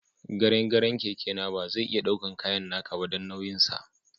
Garen garen keke na ba zai iya daukin kayan naka ba, dan nauyin sa.